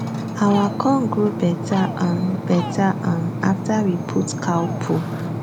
our corn grow better um better um after we put cow poo